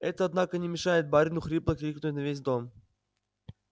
это однако не мешает барину хрипло крикнуть на весь дом